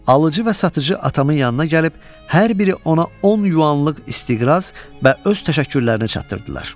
alıcı və satıcı atamın yanına gəlib hər biri ona 10 yuvanlıq isti qəbz və öz təşəkkürlərini çatdırdılar.